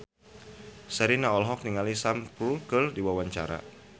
Sherina olohok ningali Sam Spruell keur diwawancara